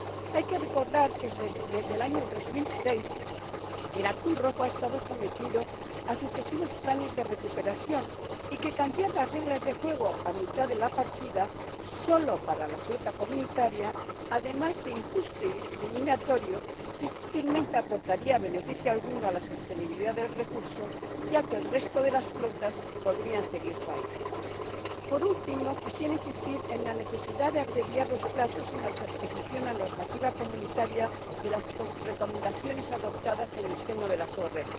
Hay que recordar que, desde el año 2006, el atún rojo ha estado sometido a sucesivos planes de recuperación y que cambiar las reglas del juego a mitad de la partida, solo para la flota comunitaria, además de injusto y discriminatorio, difícilmente aportaría beneficio alguno a la sostenibilidad del recurso, ya que el resto de las flotas podrían seguir faenando. Por último, quisiera insistir en la necesidad de abreviar los plazos en la transposición a la normativa comunitaria de las recomendaciones adoptadas en el seno de las ORP.